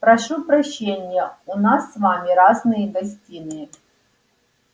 прошу прощения у нас с вами разные гостиные